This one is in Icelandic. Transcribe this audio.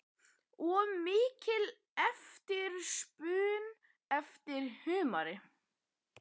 Og mikil eftirspurn eftir humri?